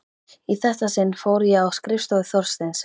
Í þetta sinn fór ég á skrifstofu Þorsteins.